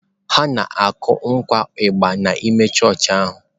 Ha na-akụkwa ịgbà n’ime chọọchị ahụ.